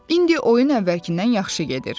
İndi oyun əvvəlkindən yaxşı gedir.